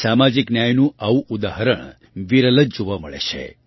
સામાજિક ન્યાયનું આવું ઉદાહરણ વિરલ જ જોવા મળે છે